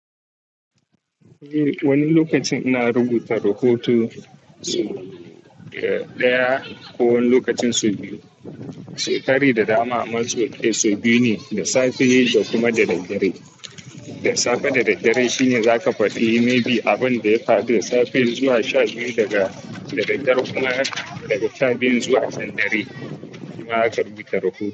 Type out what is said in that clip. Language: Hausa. Eh wani lokacin ina rubuta rahoto daya ko wani lokacin sau biyu. Sau tari da dama amma sau biyu ne, da safe da kuma da daddare. Da safe da daddare shine zaka fadi maybe abunda ya faru da safe zuwa sha biyu daga daddare kuma daga sha biyu zuwa can dare shima zaka rubuta rahoto.